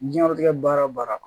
Diɲɛnatigɛ baara o baara